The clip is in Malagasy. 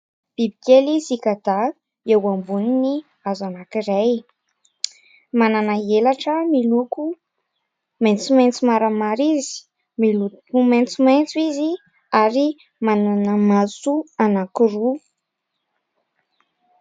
Biby kely "sikada" eo amboniny hazo anankiray. Manana helatra miloko maintsomaintso maramara izy. Miloko maintsomaintso izy ary manana maso anankiroa.